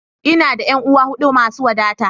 Ina da ƴan'uwa huɗu masu wadata.